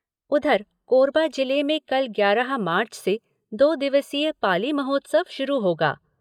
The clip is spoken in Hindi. उधर, कोरबा जिले में कल ग्यारह मार्च से दो दिवसीय पाली महोत्सव शुरू होगा।